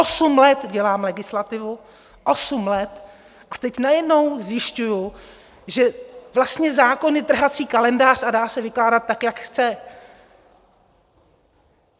Osm let dělám legislativu, osm let, a teď najednou zjišťuju, že vlastně zákon je trhací kalendář a dá se vykládat tak, jak chceme.